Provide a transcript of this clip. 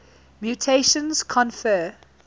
mutations confer